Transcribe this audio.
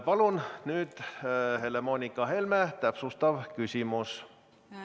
Palun nüüd Helle-Moonika Helme, täpsustav küsimus!